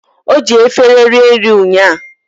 Oji efere rie nri ụńya